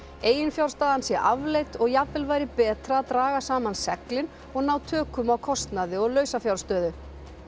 eiginfjárstaðan sé afleit og jafnvel væri betra að draga saman seglin og ná tökum á kostnaði og lausafjárstöðu